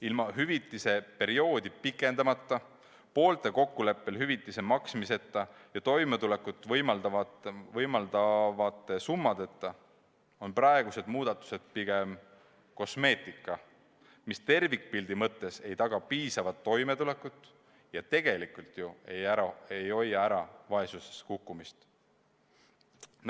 Ilma hüvitise maksmise perioodi pikendamata, poolte kokkuleppel töölt lahkumise hüvitise maksmiseta ja toimetulekut võimaldavate summadeta on praegused muudatused pigem kosmeetika, mis tervikpildi mõttes ei taga piisavat toimetulekut ja tegelikult ju ei hoia ära vaesusesse kukkumist.